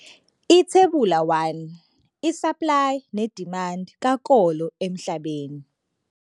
Ithebula 1- Isaplayi nedimandi kakolo emhlabeni.